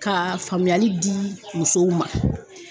Ka faamuyali di musow ma.